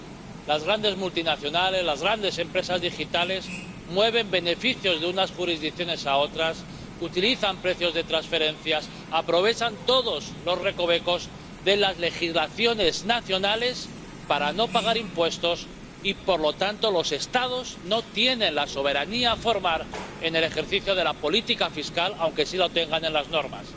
hoy, las grandes multinacionales, las grandes empresas digitales mueven beneficios de unas jurisdicciones a otras, utilizan precios de transferencias, aprovechan todos los recovecos de las legislaciones nacionales para no pagar impuestos y, por lo tanto, los Estados no tienen la soberanía formal en el ejercicio de la política fiscal, aunque sí la tengan en las normas.